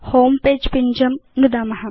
homepage पिञ्जं नुदाम